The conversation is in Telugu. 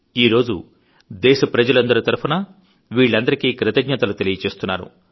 ఈరోజు దేశ ప్రజలందరీ తరఫున వీళ్లందరికీ కృతజ్ఞతలు తెలియజేస్తున్నాను